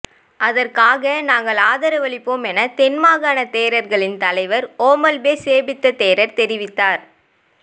அதற்காக நாங்கள் ஆதரவளிப்போம் என தென் மாகாண தேரர்களின் தலைவர் ஓமல்பே சோபித்த தேரர் தெரிவித்தார்